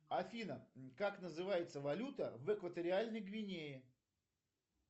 афина как называется валюта в экваториальной гвинее